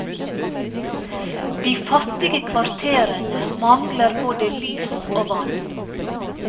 De fattige kvarterene mangler både lys og vann.